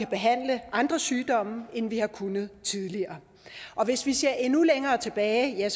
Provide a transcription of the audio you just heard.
behandle andre sygdomme end vi har kunnet tidligere og hvis vi ser endnu længere tilbage